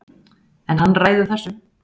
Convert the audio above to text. En hann ræður þessu